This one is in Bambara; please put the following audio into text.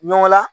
Ɲɔgɔn la